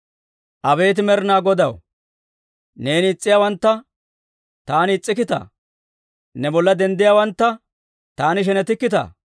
Abeet Med'inaa Godaw, neena is's'iyaawantta taani is's'ikkitaa? Ne bolla denddiyaawantta taani shenetikkitaa?